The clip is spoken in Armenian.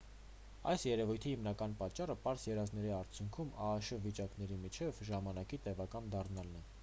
այս երևույթի հիմնական պատճառը պարզ երազների արդյունքում աաշ վիճակների միջև ժամանակի տևական դառնալն է